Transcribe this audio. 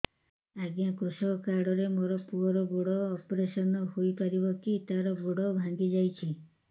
ଅଜ୍ଞା କୃଷକ କାର୍ଡ ରେ ମୋର ପୁଅର ଗୋଡ ଅପେରସନ ହୋଇପାରିବ କି ତାର ଗୋଡ ଭାଙ୍ଗି ଯାଇଛ